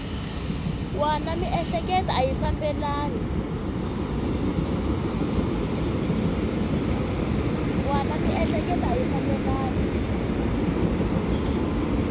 wana miehleketo a yi fambelani